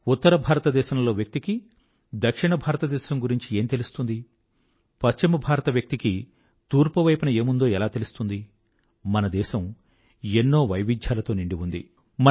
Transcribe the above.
ఉత్తర భారతదేశంలో వ్యక్తికి దక్షిణ భారత దేశం గురించి ఏం తెలుస్తుంది పశ్చిమ భారత వ్యక్తికి తూర్పు వైపున ఏముందో ఎలా తెలుస్తుంది మన దేశం ఎన్నోఈ వైవిధ్యాలతో నిండి ఉంది